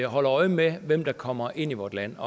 og holder øje med hvem der kommer ind i vort land